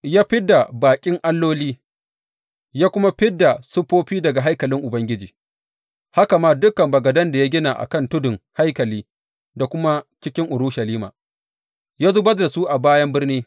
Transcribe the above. Ya fid da baƙin alloli, ya kuma fid da siffofi daga haikalin Ubangiji, haka ma dukan bagadan da ya gina a kan tudun haikali da kuma cikin Urushalima, ya zubar da su a bayan birni.